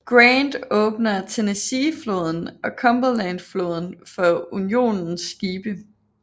Grant åbner Tennesseefloden og Cumberlandfloden for Unionens skibe